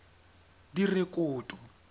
direkoto